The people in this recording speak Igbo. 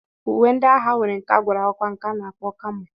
Uwe ndị agha nwere nke a gwara ọgwa nke a kpọrọ kamo